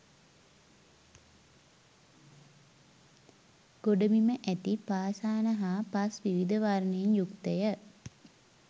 ගොඩබිම ඇති පාෂාණ හා පස් විවිධ වර්ණයෙන් යුක්තය.